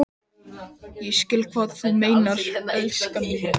Ég skil hvað þú meinar, elskan mín.